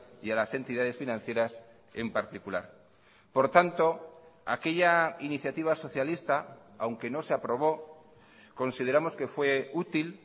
y a las entidades financieras en particular por tanto aquella iniciativa socialista aunque no se aprobó consideramos que fue útil